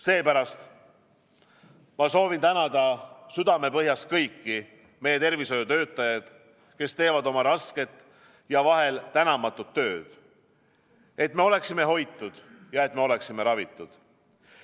Seepärast ma soovin tänada südamepõhjast kõiki meie tervishoiutöötajad, kes teevad oma rasket ja vahel tänamatut tööd, et me oleksime hoitud ja et me oleksime ravitud!